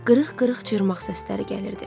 Qırıq-qırıq cırmaqlama səsləri gəlirdi.